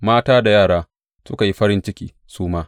Mata da yara suka yi farin ciki su ma.